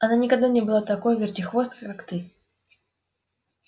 она никогда не была такой вертихвосткой как ты